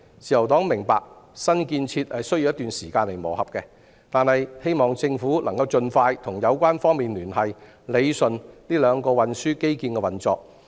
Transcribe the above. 自由黨明白新建設需要一段時間磨合，但希望政府能盡快與有關方面聯繫，理順兩個運輸基建的運作。